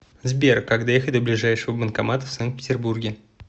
сбер как доехать до ближайшего банкомата в санкт петербурге